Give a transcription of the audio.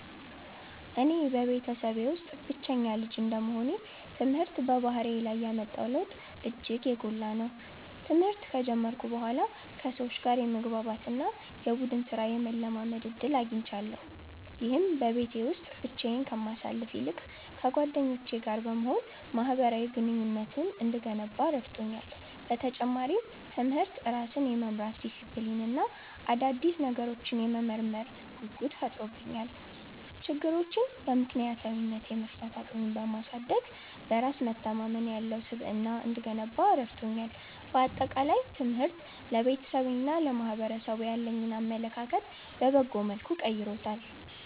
እኔ በቤተሰቤ ውስጥ ብቸኛ ልጅ እንደመሆኔ፣ ትምህርት በባህሪዬ ላይ ያመጣው ለውጥ እጅግ የጎላ ነው። ትምህርት ከጀመርኩ በኋላ ከሰዎች ጋር የመግባባት እና የቡድን ሥራን የመለማመድ ዕድል አግኝቻለሁ። ይህም በቤት ውስጥ ብቻዬን ከማሳልፍ ይልቅ ከጓደኞቼ ጋር በመሆን ማኅበራዊ ግንኙነቴን እንድገነባ ረድቶኛል። በተጨማሪም፣ ትምህርት ራስን የመምራት ዲሲፕሊን እና አዳዲስ ነገሮችን የመመርመር ጉጉት ፈጥሮብኛል። ችግሮችን በምክንያታዊነት የመፍታት አቅሜን በማሳደግ፣ በራስ መተማመን ያለው ስብዕና እንድገነባ ረድቶኛል። በአጠቃላይ፣ ትምህርት ለቤተሰቤና ለማኅበረሰቡ ያለኝን አመለካከት በበጎ መልኩ ቀይሮታል።